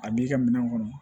A b'i ka minɛn kɔnɔ